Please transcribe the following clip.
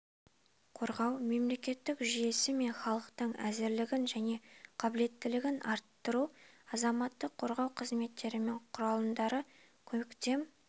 қорғау мемлекеттік жүйесі мен халықтың әзірлігін және қабілеттілігін арттыру азаматтық қорғау қызметтері мен құралымдарының көктем